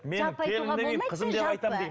мен келін демеймін қызым деп айтамын дейді